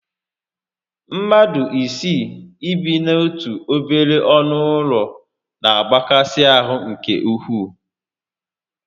Mmadụ isii ị bi n'otu obere ọnụ ụlọ na agbakasi ahụ nke ukwuu